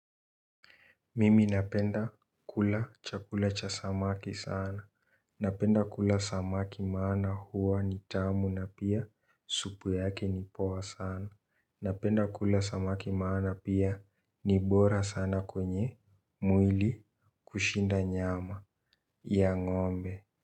Mimi napenda kula chakula cha samaki sana. Napenda kula samaki maana huwa ni tamu na pia supu yake ni poa sana. Napenda kula samaki maana pia ni bora sana kwenye mwili kushinda nyama ya ngombe.